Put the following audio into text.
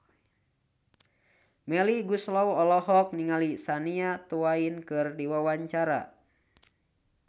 Melly Goeslaw olohok ningali Shania Twain keur diwawancara